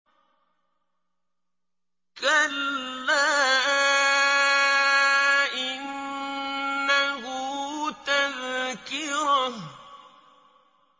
كَلَّا إِنَّهُ تَذْكِرَةٌ